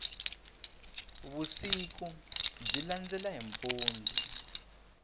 vusiku byi landela hi mpundzu